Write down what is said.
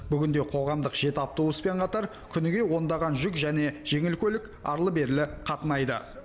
бүгінде қоғамдық жеті автобуспен қатар күніге ондаған жүк және жеңіл көлік арлы берлі қатынайды